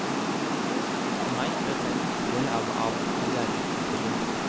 For meg er dette en viktig del av av karrièreutviklingen.